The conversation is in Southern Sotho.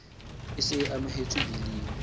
e se e amohetswe biling